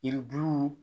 Yiribuluw